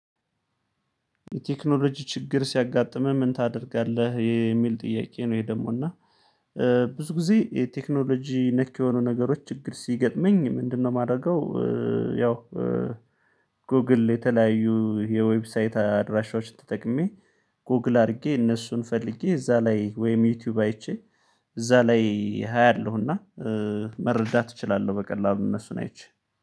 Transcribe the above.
የቴክኖሎጂ ችግር ሲያጋጥመህ ምን ታደርጋለህ የሚል ጥያቄ ነው። ይሄ ደግሞ እና ብዙ ጊዜ የቴክኖሎጂ ነክ የሆኑ ነገሮች ችግር ሲገጥመኝ ምንድነው የማደርገው? ያው ጎግል የተለያዩ የዌብሳይት አድራሻዎችን ተጠቅሜ ጎግል አድርጌ እነሱን ፈልጌ እዛ ላይ ወይም ዩቲዩብ አይቼ እዛ ላይ አያለሁና መረዳት እችላለሁ። በቀላሉ እነሱን አይቼ